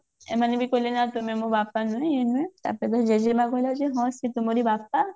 ଏମାନେ ବି କହିଲେ ନା ତୁମେ ମୋ ବାପା ନୁହେଁ ଇଏ ନୁହେଁ ତାପରେ ତା ଜେଜେମା କହିଲା ଯେ ହଁ ଇଏ ତୁମରି ବାପା